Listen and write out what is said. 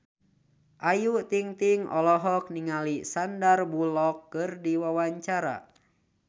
Ayu Ting-ting olohok ningali Sandar Bullock keur diwawancara